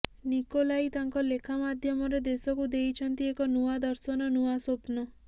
Nikolai ତାଙ୍କ ଲେଖା ମାଧ୍ୟମରେ ଦେଶକୁ ଦେଇଛନ୍ତି ଏକ ନୂଆ ଦର୍ଶନ ନୂଆ ସ୍ବପ୍ନ